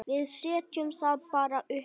Við setjum það bara uppá.